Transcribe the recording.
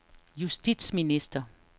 justitsminister